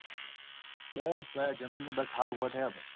બસ ભાઈ જમીને બસ હાલ ઉભા થયા ભાઈ.